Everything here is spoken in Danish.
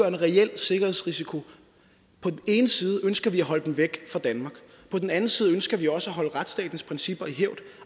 en reel sikkerhedsrisiko på den ene side ønsker vi at holde dem væk fra danmark på den anden side ønsker vi også at holde retsstatens principper i hævd